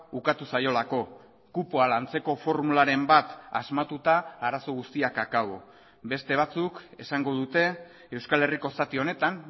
ukatu zaiolako kupoa lantzeko formularen bat asmatuta arazo guztiak akabo beste batzuk esango dute euskal herriko zati honetan